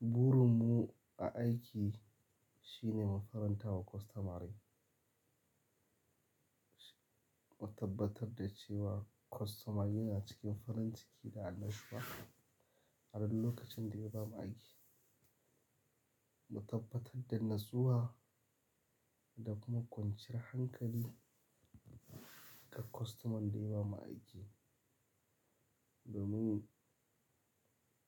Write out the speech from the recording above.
Burin mu a aiki shine mu faranta wa kwastoma rai. Mu tabbatar da cewa kwastamari yana cikin farin ciki da annashuwa a duk lokacin da ya bamu aiki. Mu tabbatar da natsuwa da kuma kwanciyar hankali ga kwastaman da ya bamu aiki. Domin